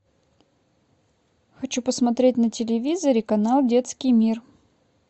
хочу посмотреть на телевизоре канал детский мир